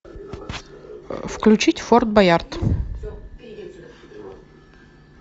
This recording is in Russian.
включить форт боярд